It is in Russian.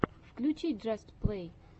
включи джаст плэй